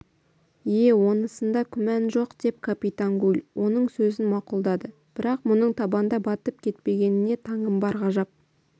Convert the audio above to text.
ие онысында күмән жоқ деп капитан гуль оның сөзін мақұлдадыбірақ мұның табанда батып кетпегеніне таңым бар ғажап